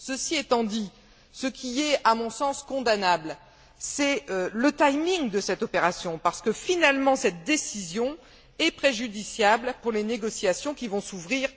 Ceci étant dit, ce qui est, à mon sens, condamnable, c'est le timing de cette opération parce que, finalement, cette décision est préjudiciable pour les négociations qui vont s'ouvrir